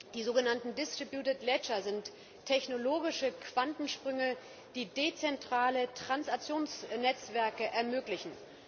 Die sogenannten sind technologische Quantensprünge, die dezentrale Transaktionsnetzwerke ermöglichen.